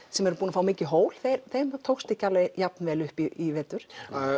sem eru búnir að fá mikið hól þeim tókst ekki alveg jafnvel upp í vetur